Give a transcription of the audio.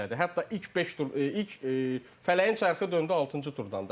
Hətta ilk beş tur ilk Fələyin çarxı döndü altıncı turdan da.